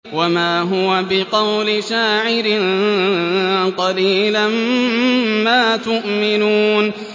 وَمَا هُوَ بِقَوْلِ شَاعِرٍ ۚ قَلِيلًا مَّا تُؤْمِنُونَ